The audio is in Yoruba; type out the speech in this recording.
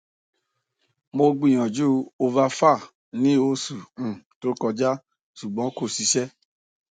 mo gbiyanju ovafar ni osu um to koja ṣugbọn ko ṣiṣẹ